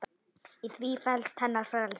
Í því felst hennar frelsi.